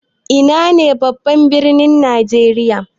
Ina ne babban birnin najeriya?